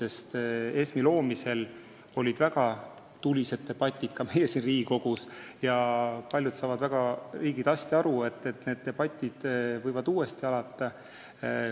ESM-i loomisel olid väga tulised debatid ka meil siin Riigikogus ja paljud saavad väga hästi aru, et need debatid võivad uuesti alata.